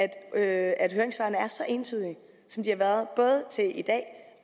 at høringssvarene er så entydige som de har været både til i dag